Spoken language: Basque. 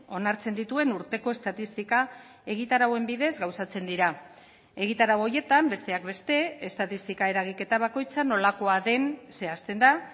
onartzen dituen urteko estatistika egitarauen bidez gauzatzen dira egitarau horietan besteak beste estatistika eragiketa bakoitza nolakoa den zehazten da